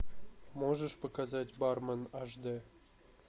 можешь показать бармен аш д